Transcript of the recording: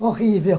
Horrível.